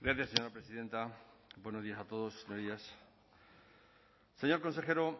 hitza gracias señora presidenta buenos días a todos señorías señor consejero